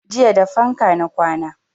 Jiya da fanka na kwana